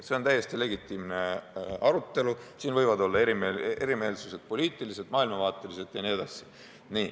See on täiesti legitiimne arutelu, siin võivad erimeelsused olla poliitilised, maailmavaatelised jne.